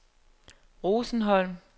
Rosenholm